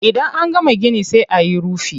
Idan an gama gini sai ayi rufi.